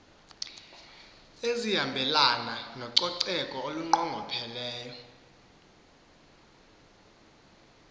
ezihambelana nococeko olunqongopheleyo